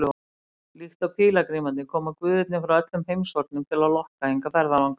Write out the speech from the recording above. Líkt og pílagrímarnir koma guðirnir frá öllum heimshornum til að lokka hingað ferðalanga.